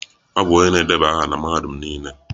Ọ bụ onye na-edeba aha na Mahadum Nile.